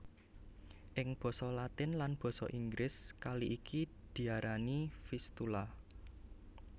Ing basa Latin lan basa Inggris kali iki diarani Vistula